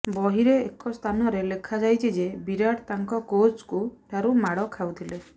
ବହିରେ ଏକ ସ୍ଥାନରେ ଲେଖାଯାଇଛି ଯେ ବିରାଟ ତାଙ୍କ କୋଚ୍ଙ୍କ ଠାରୁ ମାଡ଼ ଖାଉଥିଲେ